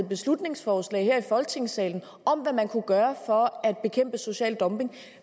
beslutningsforslag her i folketingssalen om hvad man kunne gøre for at bekæmpe social dumping